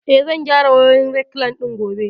Eh, zan gyara wayoyin rekliine ɗin gobe